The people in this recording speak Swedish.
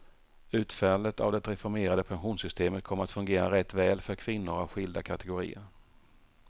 Utfallet av det reformerade pensionssystemet kommer att fungera rätt väl för kvinnor av skilda kategorier.